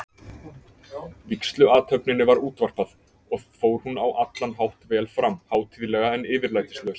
Vígsluathöfninni var útvarpað, og fór hún á allan hátt vel fram, hátíðlega, en yfirlætislaust.